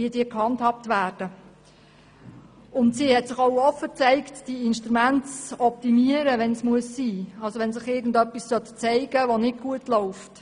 Die Baudirektorin hat sich auch offen dafür gezeigt, diese Instrumente zu optimieren, wenn es sein muss, das heisst, wenn es sich zeigen würde, dass etwas nicht gut läuft.